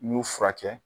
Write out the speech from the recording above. N y'u furakɛ